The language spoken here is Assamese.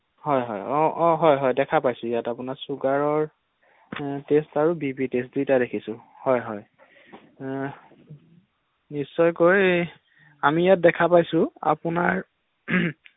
হয় হয় অ অ হয় হয় দেখা পাইছো ইয়াত আপোনাৰ চুগাৰৰ টেষ্ট আৰু বি পি টেষ্ট দুয়োটাই দেখিছো ৷ হয় হয় নিশ্চয়কৈ আমি ইয়াত দেখা পাইছো আপোনাৰ ৷